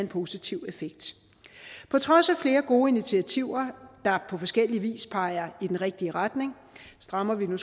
positiv effekt på trods af flere gode initiativer der på forskellig vis peger i den rigtige retning strammer vi nu